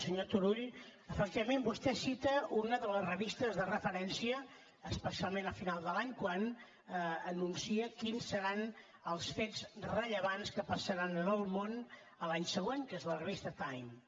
senyor turull efectivament vostè cita una de les revistes de referència especialment a final de l’any quan anuncia quins seran els fets rellevants que passaran en el món l’any següent que és la revista time